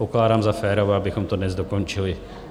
Pokládám za férové, abychom to dnes dokončili.